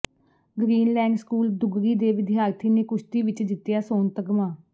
Greenland school Duggari ਦੇ ਵਿਦਿਆਰਥੀ ਨੇ ਕੁਸ਼ਤੀ ਵਿਚ ਜਿੱਤਿਆ ਸੋਨ ਤਗਮਾ